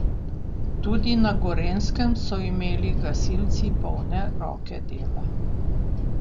Tudi na Gorenjskem so imeli gasilci polne roke dela.